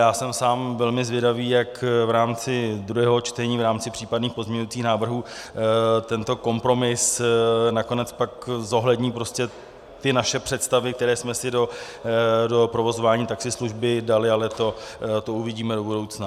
Já jsem sám velmi zvědavý, jak v rámci druhého čtení, v rámci případných pozměňovacích návrhů tento kompromis nakonec pak zohlední ty naše představy, které jsme si do provozování taxislužby dali, ale to uvidíme do budoucna.